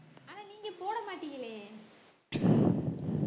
ஆனா நீங்க போட மாட்டீங்களே